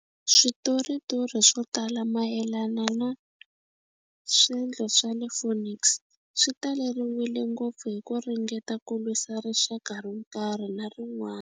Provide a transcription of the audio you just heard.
Switoritori swo tala mayelana na swendlo swa le Phoenix swi taleriwile ngopfu hi ku ringeta ku lwisa rixaka ro karhi na rin'wana.